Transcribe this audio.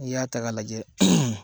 Ni y'a ta k'a lajɛ.